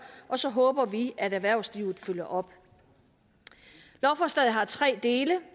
og så håber vi at erhvervslivet følger op lovforslaget har tre dele